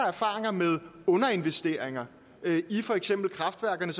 erfaringer med underinvesteringer i for eksempel kraftværkerne